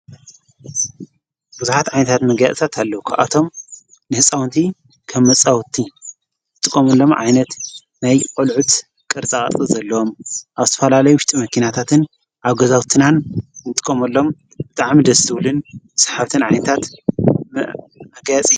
ብዙኃት ዓይንታት መገያፅታት ኣለዉ ኳብኣቶም ንሕፃውንቲ ከብመጸውቲ ንጥቆምሎም ዓይነት ነይ ቖልዑት ቕርፃቓርፂ ዘለዎም ኣብዝትፈላለይ ውሽጢ መኪናታትን ኣገዛውትናን ንጥቆመሎም ብጥዓም ደትብልን ሰሓብተን ዓንታት መገጽ።